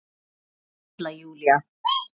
Halla Júlía.